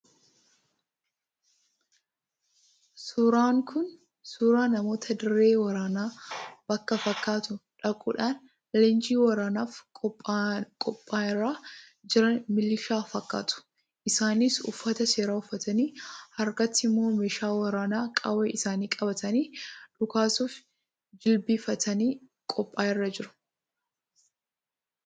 Suuraan kun suuraa namoota dirree waraanaa bakka fakkaatu dhaquudhaan leenjii waraanaaf qophiirra jiran milishaa fakkaatu. Isaanis uffata seeraa uffatanii harkatti immoo meeshaa waraanaa qawwee isaanii qabatanii dhukaasuuf jilbeenfatanii qophiirra jiru.